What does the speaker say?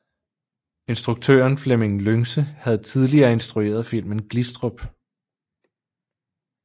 Instruktøren Flemming Lyngse havde tidligere instrueret filmen Glistrup